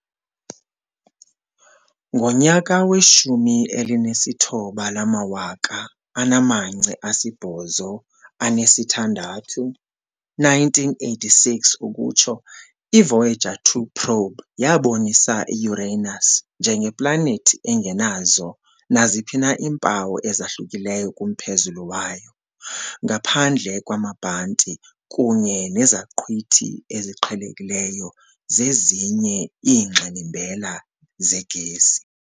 Ngo- 1986 i- Voyager 2 probe yabonisa i-Uranus njengeplanethi engenazo naziphi na iimpawu ezahlukileyo kumphezulu wayo, ngaphandle kwamabhanti kunye nezaqhwithi eziqhelekileyo zezinye iingxilimbela zegesi.